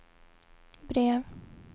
brev